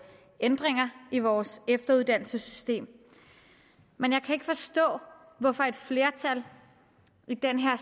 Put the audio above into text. ændringer i vores efteruddannelsessystem men jeg kan ikke forstå hvorfor et flertal i den her